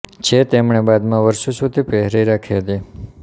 જે તેમણે બાદમાં વર્ષો સુધી પહેરી રાખી હતી